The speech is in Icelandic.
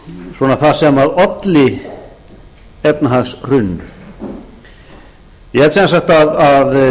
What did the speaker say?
svona það sem olli efnahagshruninu ég held sem sagt að